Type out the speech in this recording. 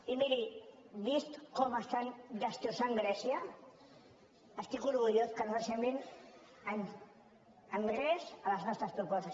i miri vist com estan destrossant grècia estic orgullós que no s’assemblin gens a les nostres propostes